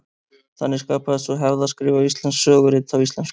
Þannig skapaðist sú hefð að skrifa íslensk sögurit á íslensku.